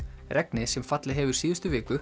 regnið sem fallið hefur síðustu viku